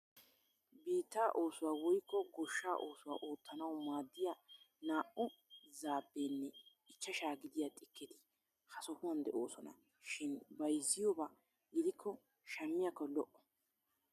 Biittaa oosuwa woyikko goshshaa oosuwa oottanawu maaddiya naa"u zaapeenne ichchashaa gidiya xikketi ha sohuwan de'oosona shin bayizziyooba gidikko shammiyaakko lo'o.